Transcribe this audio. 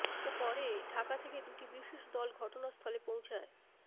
পরে ঢাকা থেকে দুটি বিশেষ দল ঘটনাস্থলে পৌঁছায়